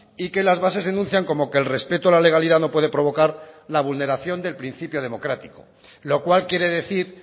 y que las bases enuncian como que el respeto a la legalidad no puede provocar la vulneración del principio democrático lo cual quiere decir